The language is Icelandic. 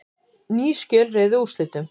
Ný skjöl réðu úrslitum